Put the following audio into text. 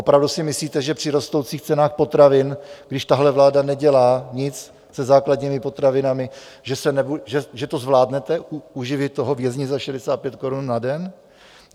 Opravdu si myslíte, že při rostoucích cenách potravin, když tahle vláda nedělá nic se základními potravinami, že to zvládnete, uživit toho vězně za 65 korun na den?